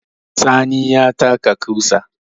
Sani ya taka ƙusa